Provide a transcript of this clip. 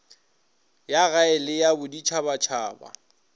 ya gae le ya boditšhabatšhaba